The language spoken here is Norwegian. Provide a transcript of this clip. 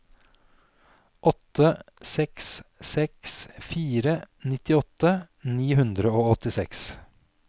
åtte seks seks fire nittiåtte ni hundre og åttiseks